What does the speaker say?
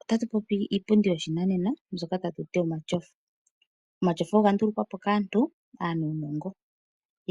Ota tu popi iipundi yoshinanena mbyoka tatu ti omatyofa. Omatyofa ogandulukwa po kaantu aanuunongo